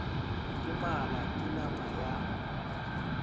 ke mala ke nama ya